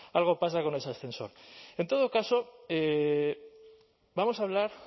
algo pasa con ese ascensor en todo caso vamos a hablar